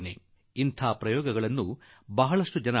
ಅಲ್ಲದೆ ಇಂತಹ ಪ್ರಯೋಗವನ್ನು ಬಹಳ ಜನ ಮಾಡುತ್ತಾರೆ